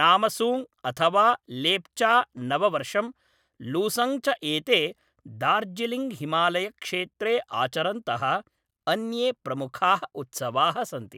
नामसूङ्ग् अथवा लेप्चा नववर्षं, लूसूङ्ग् च एते दार्जिलिङ्ग् हिमालयक्षेत्रे आचरन्तः अन्ये प्रमुखाः उत्सवाः सन्ति।